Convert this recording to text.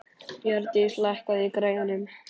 Bjarndís, lækkaðu í græjunum.